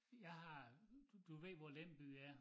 Jeg har du ved hvor Lem by er